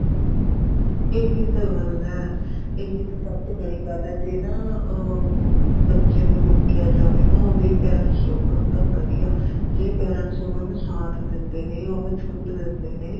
ਇਹੀ ਤਾਂ ਗੱਲ ਏ ਇਹੀ ਤਾਂ ਸਭ ਤੋਂ ਵੱਡੀ ਗੱਲ ਏ ਜ਼ੇ ਨਾ ਅਹ ਬੱਚੇ ਨੂੰ ਰੋਕਿਆ ਜਾਵੇ ਨਾ ਉਹਦੇ parents ਰੋਕਣ ਤਾਂ ਬਹੁਤ ਵਧੀਆ ਜ਼ੇ parents ਉਹਨਾ ਦਾ ਸਾਥ ਦਿੰਦੇ ਨੇ ਉਹਨੂੰ ਛੂਟ ਦਿੰਦੇ ਨੇ